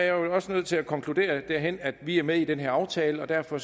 jo også nødt til at konkludere at vi er med i den her aftale og derfor